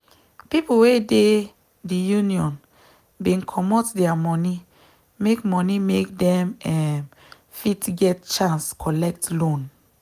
people wey dey the union bin commot their money make money make them um fit get chance collect loan